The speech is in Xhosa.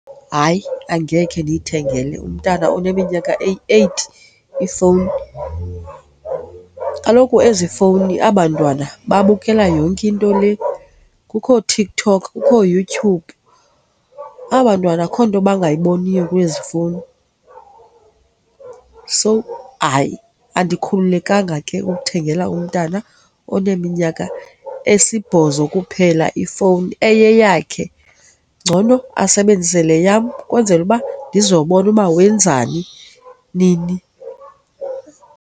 Hayi, angekhe ndiyithengele umntana oneminyaka eyi-eight ifowuni. Kaloku ezi fowuni aba bantwana babukela yonke into le. Kukho ooTikTok, kukho ooYouTube. Aba 'ntwana akukho nto bangaboniyo kwezi fowuni. So hayi andikhululekanga ke ukuthengela umntana oneminyaka esibhozo kuphela ifowuni eyeyakhe, ngcono asebenzise le yam kwenzele uba ndizobona uba wenzani, nini.